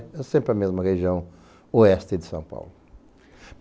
É sempre a mesma região oeste de São Paulo.